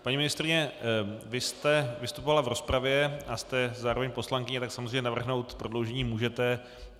Paní ministryně, vy jste vystupovala v rozpravě a jste zároveň poslankyní, tak samozřejmě navrhnout prodloužení můžete.